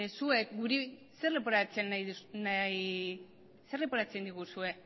zuek guri zer leporatzen diguzue